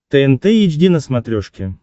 тнт эйч ди на смотрешке